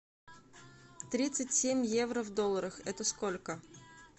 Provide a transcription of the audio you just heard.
тридцать семь евро в долларах это сколько